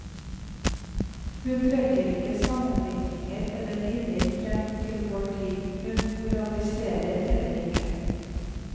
Hun trekker ikke sammenligninger eller linjer frem til vår tid, hun moraliserer heller ikke.